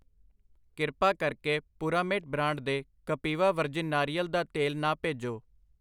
ਕਿਰਪਾ ਕਰਕੇ Puramate brand ਦੇ ਕਪਿਵਾ ਵਰਜਿਨ ਨਾਰੀਅਲ ਦਾ ਤੇਲ ਨਾ ਭੇਜੋ।